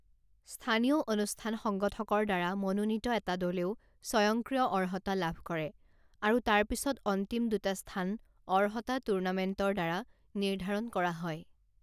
স্থানীয় অনুষ্ঠান সংগঠকৰ দ্বাৰা মনোনীত এটা দলেও স্বয়ংক্ৰিয় অৰ্হতা লাভ কৰে, আৰু তাৰ পিছত অন্তিম দুটা স্থান অৰ্হতা টুৰ্ণামেণ্টৰ দ্বাৰা নিৰ্ধাৰণ কৰা হয়।